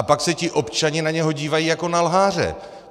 A pak se ti občané na něho dívají jako na lháře.